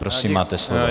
Prosím, máte slovo.